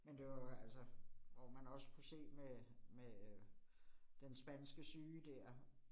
Men det var jo, altså hvor man også kunne se med med øh den spanske syge dér